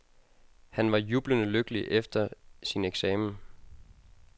Han var jublende lykkelig efter sin eksamen.